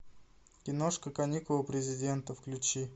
киношка каникулы президента включи